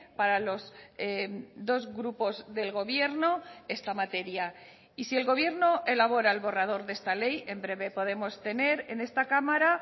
para los dos grupos del gobierno esta materia y si el gobierno elabora el borrador de esta ley en breve podemos tener en esta cámara